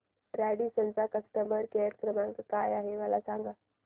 Radisson चा customer care क्रमांक काय आहे मला सांगा